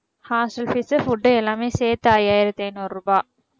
hostel fees food எல்லாமே சேர்த்து ஐயாயிரத்தி ஐநூறு ரூபாய்